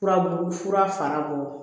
Furabulu fura fara bolo